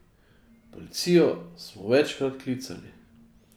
Policijo smo večkrat klicali ...